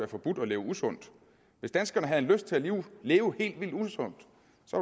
forbudt at leve usundt hvis danskerne havde lyst til at leve leve helt vildt usundt